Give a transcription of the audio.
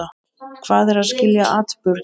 Hvað er að skilja atburð?